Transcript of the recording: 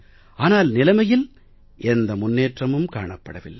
ஆனால் நிலைமையில் எந்த முன்னேற்றமும் காணப்படவில்லை